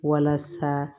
Walasa